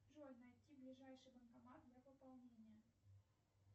джой найти ближайший банкомат для пополнения